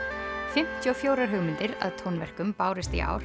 fimmtíu og fjórar hugmyndir að tónverkum bárust í ár